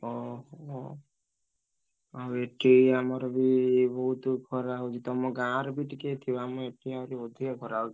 ଓ ହୋ! ଆଉ ଏଠି ଆମର ବି ବହୁତ୍ ଖରା ହଉଛି। ତମ ଗାଁରେ ବି ଟିକେ ଥିବ ଆମ ଏଠି ଆହୁରି ଅଧିକା ଖରା ହଉଛି।